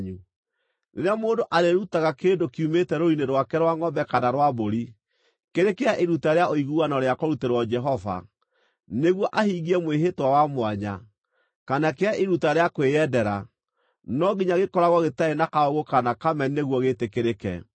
Rĩrĩa mũndũ arĩĩrutaga kĩndũ kiumĩte rũrũ-inĩ rwake rwa ngʼombe kana rwa mbũri, kĩrĩ kĩa iruta rĩa ũiguano rĩa kũrutĩrwo Jehova, nĩguo ahingie mwĩhĩtwa wa mwanya, kana kĩa iruta rĩa kwĩyendera, no nginya gĩkoragwo gĩtarĩ na kaũũgũ kana kameni nĩguo gĩĩtĩkĩrĩke.